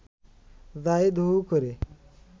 জাহিদ হু হু করে